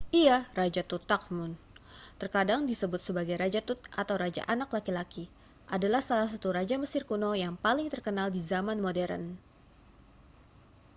iya raja tutankhamun terkadang disebut sebagai raja tut atau raja anak laki-laki adalah salah satu raja mesir kuno yang paling terkenal di zaman modern